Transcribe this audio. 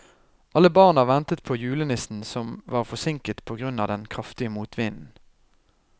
Alle barna ventet på julenissen, som var forsinket på grunn av den kraftige motvinden.